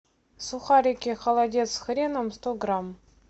сухарики холодец с хреном сто грамм